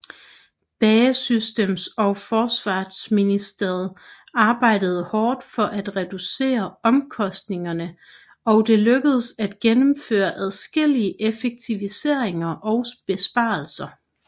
BAE Systems og forsvarsministeriet arbejdede hårdt for at reducere omkostninger og det lykkedes at gennemføre adskillige effektiviseringer og besparelser